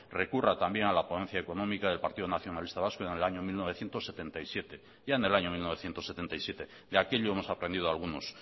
recurra también a la ponencia económica del partido nacionalista vasco en el año mil novecientos setenta y siete ya en el año mil novecientos setenta y siete de aquello hemos aprendido algunos